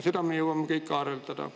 Seda kõike me jõuame veel arutada.